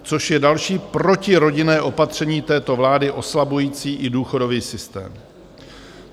Což je další protirodinné opatření této vlády oslabující i důchodový systém.